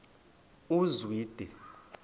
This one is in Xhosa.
uzwide